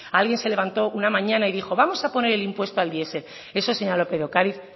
alguien se levantó una mañana y dijo vamos a poner el impuesto al diesel eso señora lópez de ocariz